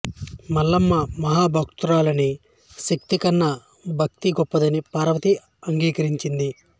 మల్లమ్మ మహాభక్తురాలని శక్తి కన్నా భక్తి గొప్పదని పార్వతి అంగీకరించింది